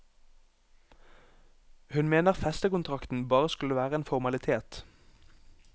Hun mener festekontrakten bare skulle være en formalitet.